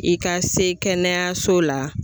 I ka se kɛnɛyaso la.